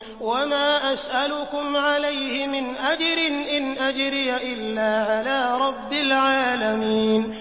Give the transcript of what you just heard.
وَمَا أَسْأَلُكُمْ عَلَيْهِ مِنْ أَجْرٍ ۖ إِنْ أَجْرِيَ إِلَّا عَلَىٰ رَبِّ الْعَالَمِينَ